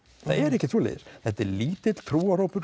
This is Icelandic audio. það er ekkert svoleiðis þetta er lítill trúarhópur